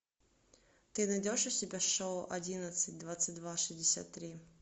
ты найдешь у себя шоу одиннадцать двадцать два шестьдесят три